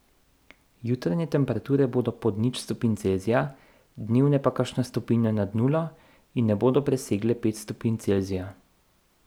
Jutranje temperature bodo pod nič stopinj Celzija, dnevne pa kakšno stopinjo nad nulo in ne bodo presegle pet stopinj Celzija.